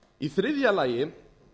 í þriðja lagi